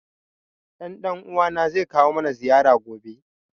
Ɗan ɗan uwa na zai kawo mana ziyara gobe